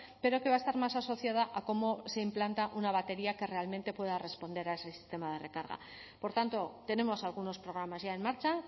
pero que va a estar más asociada a cómo se implanta una batería que realmente pueda responder a ese sistema de recarga por tanto tenemos algunos programas ya en marcha